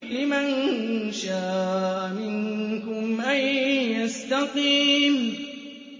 لِمَن شَاءَ مِنكُمْ أَن يَسْتَقِيمَ